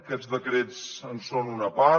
aquests decrets en són una part